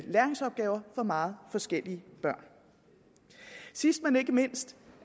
læringsopgaver for meget forskellige børn sidst men ikke mindst